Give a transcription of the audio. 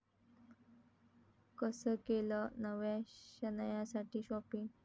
कसं केलं नव्या शनायासाठी शाॅपिंग?